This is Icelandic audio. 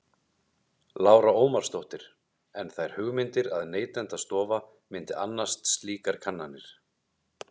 Lára Ómarsdóttir: En þær hugmyndir að Neytendastofa myndi annast slíkar kannanir?